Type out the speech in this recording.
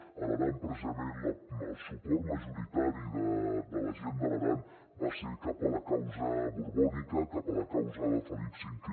a l’aran precisament el suport majoritari de la gent de l’aran va ser cap a la causa borbònica cap a la causa de felip v